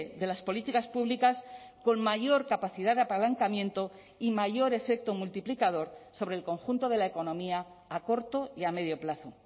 de las políticas públicas con mayor capacidad de apalancamiento y mayor efecto multiplicador sobre el conjunto de la economía a corto y a medio plazo